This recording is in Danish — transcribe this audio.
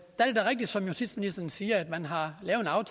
rigtigt som justitsministeren siger at man har lavet